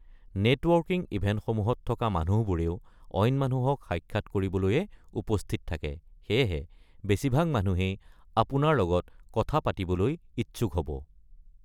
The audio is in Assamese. নেটৱৰ্কিং ইভেন্টসমূহত থকা মানুহবোৰেও অইন মানুহক সাক্ষাৎ কৰিবলৈয়ে উপস্থিত থাকে, সেয়েহে বেছিভাগ মানুহেই আপোনাৰ লগত কথা পাতিবলৈ ইচ্ছুক হ'ব।